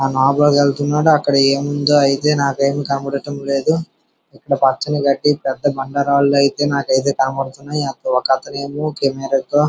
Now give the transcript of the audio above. వెళ్తున్నాడు. అక్కడ ఏముందో అయితే నాకేం కనపడుటలేదు. పచ్చని గడ్డి పెద్ద బండరాళ్లు అయితే నాకైతే కనపడుతున్నాయి. ఒక అతను అయితే కెమెరాతో .--